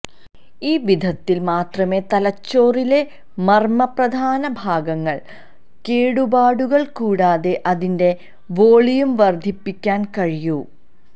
ഈ വിധത്തിൽ മാത്രമേ തലച്ചോറിലെ മർമ്മപ്രധാന ഭാഗങ്ങൾ കേടുപാടുകൾ കൂടാതെ അതിന്റെ വോളിയം വർദ്ധിപ്പിക്കാൻ കഴിയൂ